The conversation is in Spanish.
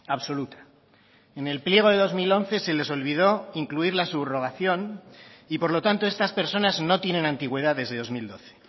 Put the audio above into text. absoluta en el pliego de dos mil once se les olvidó incluir la subrogación y por lo tanto estas personas no tienen antigüedad desde dos mil doce